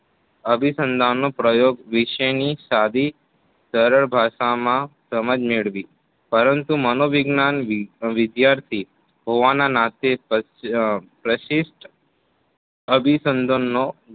અભિસંધાનનો પ્રયોગ વિશેની સાદી સરળ ભાષામાં સમાજ મેળવી પરંતુ મનોવિજ્ઞાન વિદ્યાર્થી હોવાના નાતે પ્રશિષ્ટ અભિસંધાનનો